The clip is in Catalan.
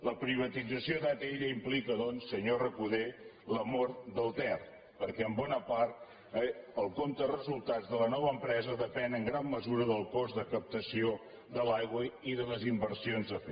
la privatització d’atll implica doncs senyor recoder la mort del ter perquè en bona part el compte de resultats de la nova empresa depèn en gran mesura del cost de captació de l’aigua i de les inversions a fer